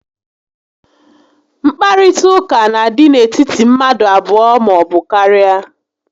Nkparịta ụka n'adị n'etiti mmadụ abụọ maọbụ karịa